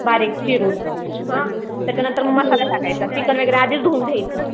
बारीक चिरून हां त्याच्यानंतर मग मसाला टाकायचा चिकन वगैरे आधीच धूवुन ठेवायचं